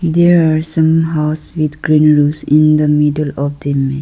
there are some house with green roofs in the middle of the image.